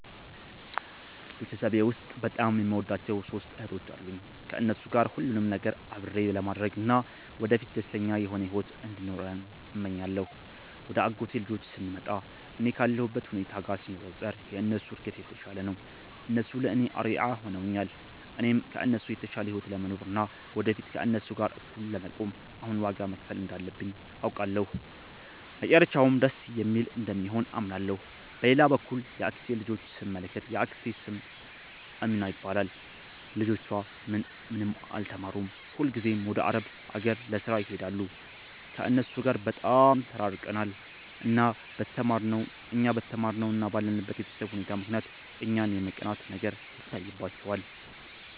ቤተሰቤ ውስጥ በጣም የምወዳቸው ሦስት እህቶች አሉኝ። ከእነሱ ጋር ሁሉንም ነገር አብሬ ለማድረግ እና ወደፊት ደስተኛ የሆነ ሕይወት እንዲኖረን እመኛለሁ። ወደ አጎቴ ልጆች ስንመጣ፣ እኔ ካለሁበት ሁኔታ ጋር ሲነጻጸር የእነሱ እድገት የተሻለ ነው። እነሱ ለእኔ አርአያ ሆነውኛል። እኔም ከእነሱ የተሻለ ሕይወት ለመኖር እና ወደፊት ከእነሱ ጋር እኩል ለመቆም አሁን ዋጋ መክፈል እንዳለብኝ አውቃለሁ፤ መጨረሻውም ደስ የሚል እንደሚሆን አምናለሁ። በሌላ በኩል የአክስቴን ልጆች ስንመለከት፣ የአክስቴ ስም አሚናት ይባላል። ልጆቿ ምንም አልተማሩም፤ ሁልጊዜም ወደ አረብ አገር ለሥራ ይሄዳሉ። ከእነሱ ጋር በጣም ተራርቀናል። እኛ በተማርነው እና ባለንበት የቤተሰብ ሁኔታ ምክንያት እኛን የመቅናት ነገር ይታይባቸዋል